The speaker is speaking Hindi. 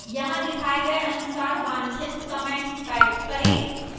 यहाँ दिखाए गए अनुसार वांछित comment type करें